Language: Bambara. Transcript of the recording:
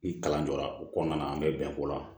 Ni kalan jɔra o kɔnɔna na an bɛ bɛn ko la